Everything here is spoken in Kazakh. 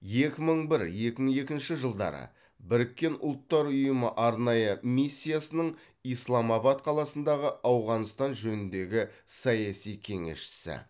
екі мың бір екі мың екінші жылдары біріккен ұлттар ұйымы арнайы миссиясының исламабад қаласындағы ауғанстан жөніндегі саяси кеңесшісі